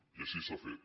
i així s’ha fet